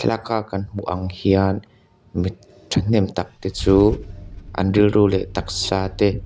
thlalak a kan hmuh ang hian mi thahnem tak te chuan an rilru leh taksa te--